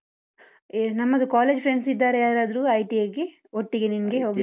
ಏ ನಮ್ಮದು college friends ಇದ್ದಾರಾ ಯಾರಾದ್ರು? ITI ಗೆ ಒಟ್ಟಿಗೆ ನಿಂಗೆ ಹೋಗ್ಲಿಕ್ಕೆ?